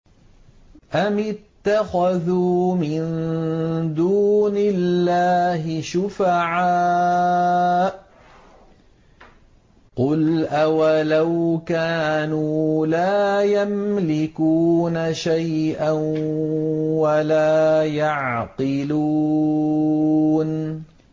أَمِ اتَّخَذُوا مِن دُونِ اللَّهِ شُفَعَاءَ ۚ قُلْ أَوَلَوْ كَانُوا لَا يَمْلِكُونَ شَيْئًا وَلَا يَعْقِلُونَ